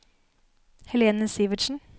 Helene Sivertsen